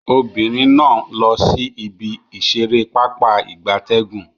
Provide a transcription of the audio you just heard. Obinrin na n lo si ibi isere papa igabtegun